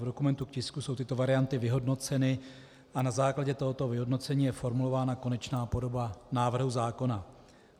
V dokumentu k tisku jsou tyto varianty vyhodnoceny a na základě tohoto vyhodnocení je formulována konečná podoba návrhu zákona.